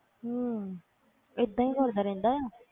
ਹਮ ਏਦਾਂ ਹੀ ਕਰਦਾ ਰਹਿੰਦਾ।